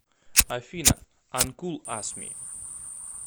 афина анкул ас ми